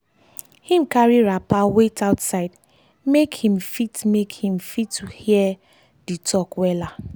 him carry wrapper wait outside make him fit make him fit hear the talk wella.